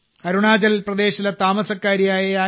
അരുണാചൽ പ്രദേശിലെ താമസക്കാരിയായ ശ്രീമതി